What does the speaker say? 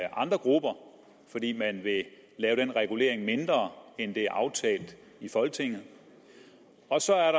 andre grupper fordi man vil lave denne regulering mindre end det er aftalt i folketinget og så er